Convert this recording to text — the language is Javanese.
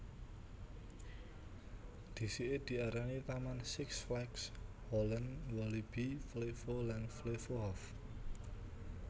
Dhisike diarani taman Six Flags Holland Walibi Flevo lan Flevohof